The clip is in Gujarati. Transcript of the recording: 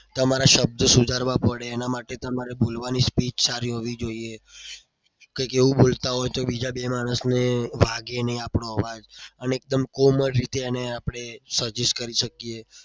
તમારા શબ્દો સુધારવા પડે. એના માટે તમારે બોલવાની speech સારી હોવી જોઈએ. કંઈક એવું બોલતા હોય તો બીજા બે માણસને વાગેની એનો આપણો અવાજ અને એકદમ કોમળ રીતે એને આપણે suggest કરી શકીએ.